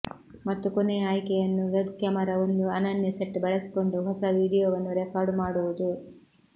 ಮತ್ತು ಕೊನೆಯ ಆಯ್ಕೆಯನ್ನು ವೆಬ್ ಕ್ಯಾಮೆರಾ ಒಂದು ಅನನ್ಯ ಸೆಟ್ ಬಳಸಿಕೊಂಡು ಹೊಸ ವೀಡಿಯೊವನ್ನು ರೆಕಾರ್ಡ್ ಮಾಡುವುದು